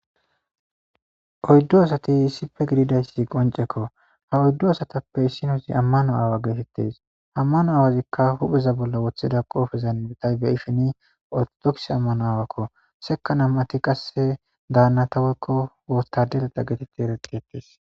oyddo asati issife gididayssi qoncekko ha oyddo asatappe issinosi ammano aawa geetettes ammano aawazikka hupheza bolla wotheda qoofezan bitay be ifini otodoks ammano aawakko seka nam7ati qasse daannataweykko wotadeleta geetetti ereteetes